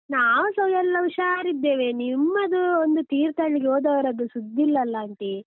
ನಾವುಸ ಎಲ್ಲ ಹುಷಾರಿದ್ದೇವೆ, ನಿಮ್ಮದು ಒಂದು ತೀರ್ಥಹಳ್ಳಿಗೆ ಹೋದವರದ್ದು ಸುದ್ದಿ ಇಲ್ಲಲ್ಲ aunty .